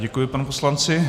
Děkuji panu poslanci.